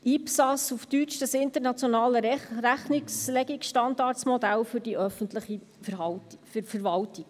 ISPAS auf Deutsch: das internationale Rechnungslegungsstandardmodell für die öffentliche Verwaltung.